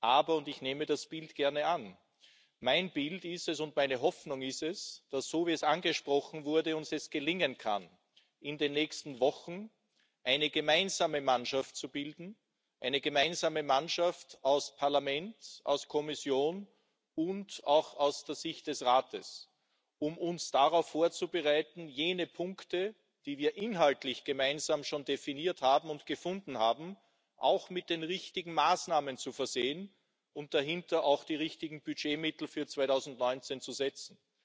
Aber und ich nehme das Bild gerne an Mein Bild und meine Hoffnung ist es, dass es uns so wie es angesprochen wurde gelingen kann, in den nächsten Wochen eine gemeinsame Mannschaft zu bilden, eine gemeinsame Mannschaft aus Parlament, aus Kommission und auch aus der Sicht des Rates, um uns darauf vorzubereiten, jene Punkte, die wir inhaltlich gemeinsam schon definiert und gefunden haben, mit den richtigen Maßnahmen zu versehen und dahinter auch die richtigen Budgetmittel für 2019 zu setzen.